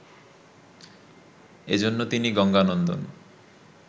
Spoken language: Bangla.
এজন্য তিনি গঙ্গানন্দন